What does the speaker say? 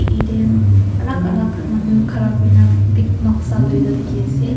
yete alak alak manu ghara kurina pi noksa loina diki ase.